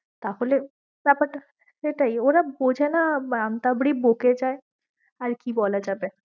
তাহলে ব্যাপার টা সেটাই, ওরা বোঝে না ব্যাপার টা আন্তাবৃ বকে যায়ে আর কি বলা যাবে।